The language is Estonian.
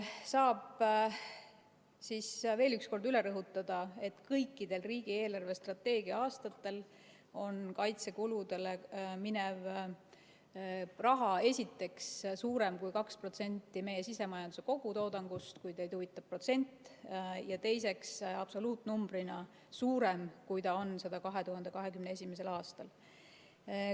Saab siis veel üks kord üle rõhutada, et kõikidel riigi eelarvestrateegia aastatel on kaitsekuludele minev raha esiteks suurem kui 2% meie sisemajanduse kogutoodangust, kui teid huvitab protsent, ja teiseks absoluutnumbrina suurem, kui ta on seda 2021. aastal.